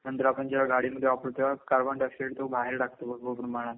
नंतर आपण जेव्हा गाडीमधे वापरू तेव्हा कार्बनडायऑक्साईड तो बाहेर टाकतो भरपूर प्रमाणात